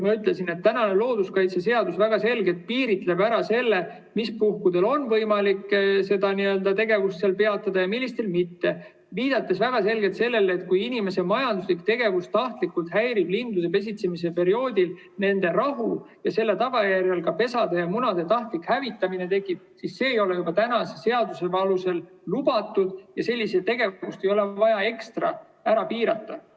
Ma ütlesin, et looduskaitseseadus väga selgelt piiritleb ära selle, mis puhkudel on võimalik seda tegevust peatada ja millistel mitte, viidates sellele, et kui inimese majanduslik tegevus tahtlikult häirib lindude pesitsemise perioodil nende rahu ja selle tagajärjel tekib ka pesade ja munade tahtlik hävitamine, siis see ei ole juba seaduse järgi lubatud ja selliseid tegevusi ei ole vaja rohkem ekstra piirata.